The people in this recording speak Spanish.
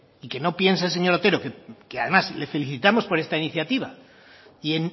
y que no piense el señor otero que además le felicitamos por esta iniciativa y